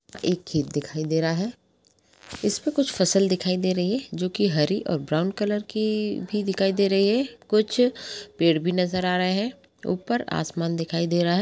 एक खेत दिखाई दे रहा है इसपे कुछ फसल दिखाई दे रही है जोकि हरी और ब्राउन कलर की भी दिखाई दे रही है कुछ पेड़ भी नज़र आ रहे है ऊपर आसमान दिखाई दे रहा हैं।